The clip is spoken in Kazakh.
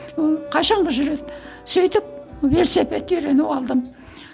ыыы қашанға жүреді сөйтіп велосипедке үйреніп алдым